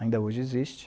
Ainda hoje existe.